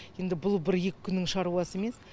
енді бұл бір екі күннің шаруасы емес